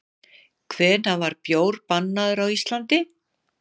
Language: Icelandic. Hvenær var bjór bannaður á Íslandi?